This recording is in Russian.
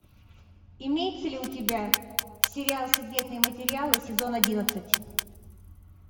имеется ли у тебя сериал секретные материалы сезон одиннадцать